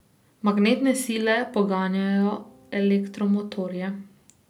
Magnetne sile poganjajo elektromotorje.